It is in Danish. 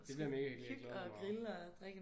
Det bliver mega hyggeligt. Jeg glæder mig meget